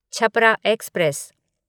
Chhapra express